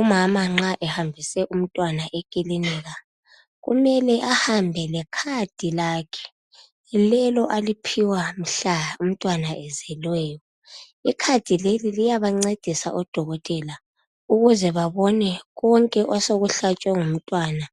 Umama nxa ehambise umntwana eklilinika kumele ahambe lekhadi lakhe lelo aliphiwa mhla umntwana ezelweyo. Ikhadi leli liyabancedisa odokotela ukuze babone konke osokuhlatshwe ngumntwana